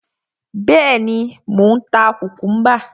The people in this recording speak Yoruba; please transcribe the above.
Bẹ́ẹ̀ni, mò ń ta kùkúḿbà.